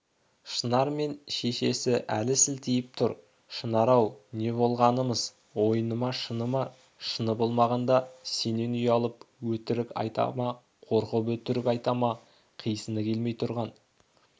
шынар мен шешесі әлі селтиіп тұр шынар-ау не болғанымыз ойыны ма шыны ма шыны болмағанда сенен ұялып өтірік айта ма қорқып өтірік айта ма қисыны келмей тұрған